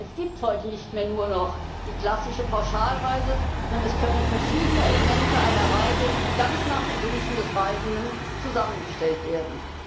Es gibt heute nicht mehr nur noch die klassische Pauschalreise, sondern es können verschiedene Elemente einer Reise ganz nach den Wünschen des Reisenden zusammengestellt werden.